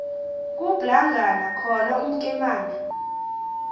kublangana khona umkemane